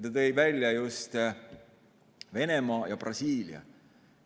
Ta tõi välja Venemaa ja Brasiilia.